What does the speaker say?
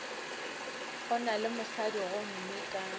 go na mosadi gomme ka